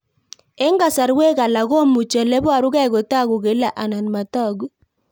Eng'kasarwek alak komuchi ole parukei kotag'u kila anan matag'u